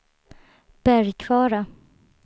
Bergkvara